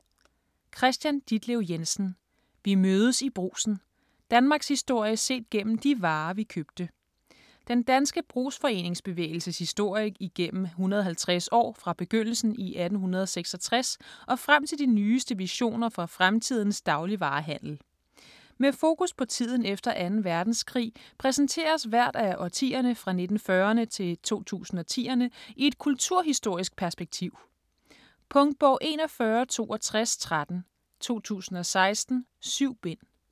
Jensen, Kristian Ditlev: Vi mødes i Brugsen: danmarkshistorie set gennem de varer, vi købte Den danske brugsforeningsbevægelses historie igennem 150 år fra begyndelsen i 1866 og frem til de nyeste visioner for fremtidens dagligvarehandel. Med fokus på tiden efter 2. verdenskrig præsenteres hvert af årtierne fra 1940'erne til 2010'erne i et kulturhistorisk perspektiv. Punktbog 416213 2016. 7 bind.